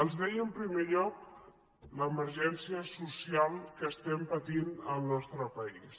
els deia en primer lloc l’emergència social que estem patint al nostre país